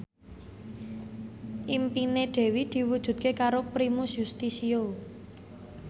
impine Dewi diwujudke karo Primus Yustisio